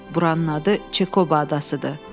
Buranın adı Çekoba adasıdır.